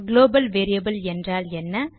global variable என்றால் என்ன